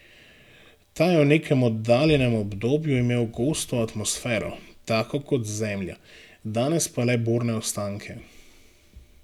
Ta je v nekem oddaljenem obdobju imel gosto atmosfero, tako kot Zemlja, danes pa le borne ostanke.